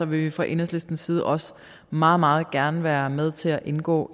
vil vi fra enhedslistens side også meget meget gerne være med til at indgå